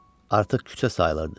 Artıq küçə sayılırdı.